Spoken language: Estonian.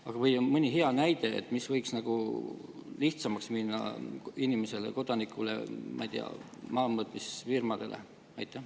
Aga ehk on mõni hea näide, mis võiks nagu lihtsamaks minna inimesele, kodanikule, ma ei tea, maamõõtmisfirmadele?